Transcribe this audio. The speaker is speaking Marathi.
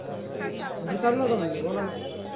घरी चाललो होतो म्हणलं बोलना